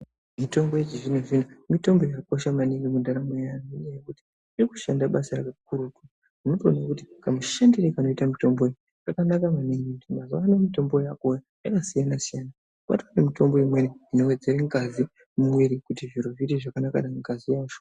Mitombo yechizvino zvino mitombo yakakosha maningi mundaramo yevantu ngekuti vanoda kushanda basa kakurutu votooneka kuti Kamushandire kanoita mutombo uwu kakanaka maningi ngekuti mitombo yakasiyana siyana kwane mitombo Inowedzera ngazi mumwiri kuti zviite zvakanaka mungazi macho.